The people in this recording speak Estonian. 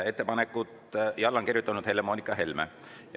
" Alla on kirjutanud Helle-Moonika Helme.